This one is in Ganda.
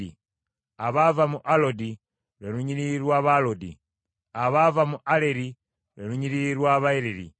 abaava mu Alodi, lwe lunyiriri lw’Abaalodi; abaava mu Aleri, lwe lunyiriri lw’Abaaleri.